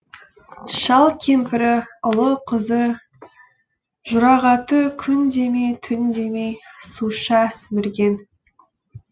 шал кемпірі ұлы қызы жұрағаты күн демей түн демей суша сімірген